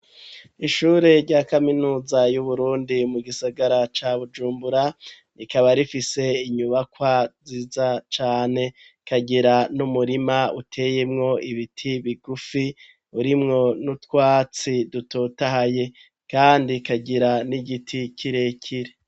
Ishure rya kaminuza, y'Uburundi, mu gisagara ca Bujumbura, rikaba rifise, inyubakwa nziza cane; ikagira n'umurima, uteyemwo ibiti bigufi, urimwo n'utwatsi, dutotahaye, kandi ikagira n'igiti, kirekire.